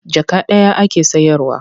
Jaka ɗaya ake sayarwa.